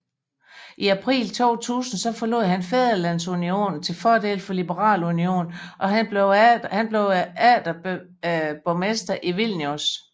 I april 2000 forlod han Fædrelandsunionen til fordel for Liberal Union og blev atter borgmester i Vilnius